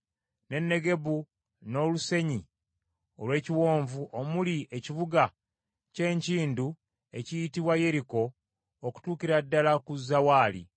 ne Negebu n’olusenyi olw’ekiwonvu omuli Ekibuga ky’Enkindu ekiyitibwa Yeriko okutuukira ddala ku Zawaali.